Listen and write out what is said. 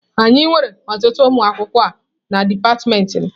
Anyị nwere ọtụtụ ụmụ akwụkwọ na dipatịmentị m.